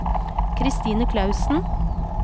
Christine Clausen